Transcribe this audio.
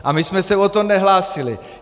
A my jsme se o to nehlásili.